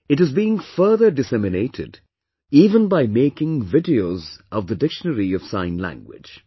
It is being further disseminated, even by making videos of the dictionary of Sign Language